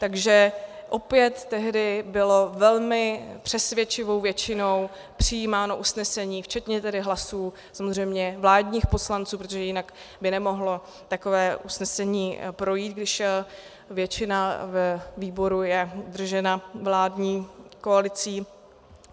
Takže opět tehdy bylo velmi přesvědčivou většinou přijímáno usnesení včetně tedy hlasů samozřejmě vládních poslanců, protože jinak by nemohlo takové usnesení projít, když většina ve výboru je držena vládní koalicí.